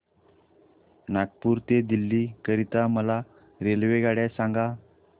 नागपुर ते दिल्ली करीता मला रेल्वेगाड्या सांगा